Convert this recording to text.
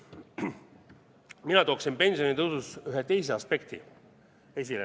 Mina tooksin pensionitõusus esile ühe teise aspekti.